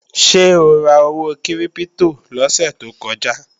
Ṣé o ra owó kírípítò lọ́sè tó kọjá?